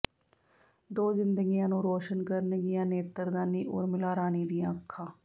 ਦੋ ਜ਼ਿੰਦਗੀਆਂ ਨੂੰ ਰੌਸ਼ਨ ਕਰਨਗੀਆਂ ਨੇਤਰਦਾਨੀ ਉਰਮਿਲਾ ਰਾਣੀ ਦੀਆਂ ਅੱਖਾਂ